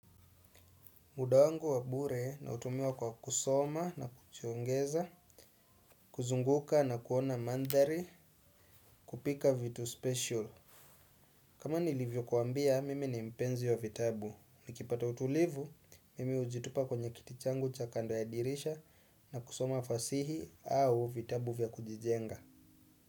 Muda wangu wa bure nautumia kwa kusoma na kujiongeza, kuzunguka na kuona mandhari kupika vitu special. Kama nilivyo kuambia, mimi ni mpenzi wa vitabu. Nikipata utulivu, mimi ujitupa kwenye kiti changu cha kando ya dirisha na kusoma fasihi au vitabu vya kujijenga.